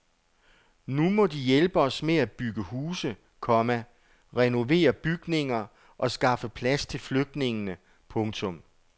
Nu må de hjælpe os med at bygge huse, komma renovere bygninger og skaffe plads til flygtningene. punktum